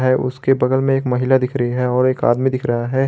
है उसके बगल में एक महिला दिख रही है और एक आदमी दिख रहा है।